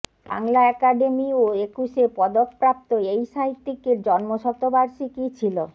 Bangla academy ও একুশে পদকপ্রাপ্ত এই সাহিত্যিকের জন্মশতবার্ষিকী ছিল